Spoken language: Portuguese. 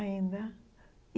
Ainda.